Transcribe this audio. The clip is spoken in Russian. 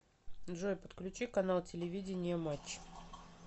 джой подключи канал телевидения матч